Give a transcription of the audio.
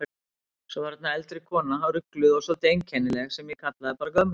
Svo var þarna eldri kona, rugluð og svolítið einkennileg, sem ég kallaði bara gömlu.